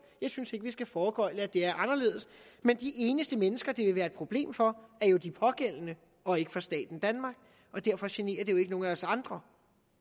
jeg synes ikke vi skal foregøgle at det er anderledes men de eneste mennesker det vil være et problem for er jo de pågældende og ikke staten danmark og derfor generer det jo ikke nogen af os andre